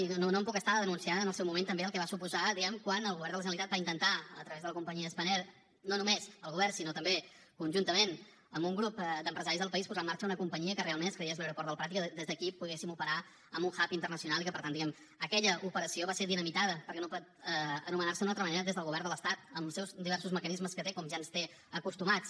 i no em puc estar de denunciar en el seu moment també el que va suposar diguem ne quan el govern de la generalitat va intentar a través de la companyia spanair no només el govern sinó també conjuntament amb un grup d’empresaris del país posar en marxa una companyia que realment es cregués l’aeroport del prat i que des d’aquí poguéssim operar amb un hubaquella operació va ser dinamitada perquè no pot anomenar se d’una altra manera des del govern de l’estat amb els seus diversos mecanismes que té com ja ens té acostumats